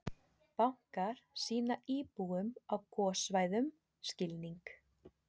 Bankarnir sýni íbúum á gossvæðum skilning